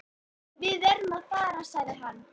Þeir fylltu glösin að nýju og skáluðu fyrir skjótum sigri.